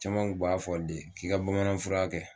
Caman kun b'a fɔ de k'i ka bamanan fura kɛ